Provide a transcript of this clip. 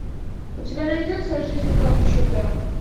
у тебя найдется жизнь как чудо